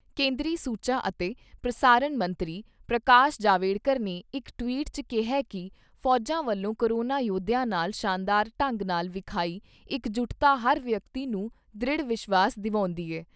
ਕੇਂਦਰੀ ਸੂਚਾ ਅਤੇ ਪ੍ਰਸਾਰਣ ਮੰਤਰੀ ਪ੍ਰਕਾਸ਼ ਜਾਵੜੇਕਰ ਨੇ ਇਕ ਟਵੀਟ 'ਚ ਕਿਹਾ ਕਿ ਫੌਜਾਂ ਵਲੋਂ ਕੋਰੋਨਾ ਯੋਧਿਆਂ ਨਾਲ ਸ਼ਾਨਦਾਰ ਢੰਗ ਨਾਲ ਵਿਖਾਈ ਇੱਕਜੁਟਤਾ ਹਰ ਵਿਅਕਤੀ ਨੂੰ ਦ੍ਰਿੜ ਵਿਸ਼ਵਾਸ ਦਵਾਉਂਦੀ ਏ।